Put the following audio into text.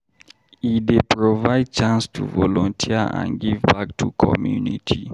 E dey provide chance to volunteer and give back to community.